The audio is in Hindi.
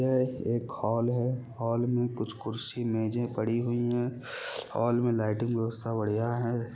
यह एक हॉल है हॉल मे कुछ कुर्सी मेजे पड़ी हुई है हॉल मे लाइटिंग व्यवस्था बढ़िया है।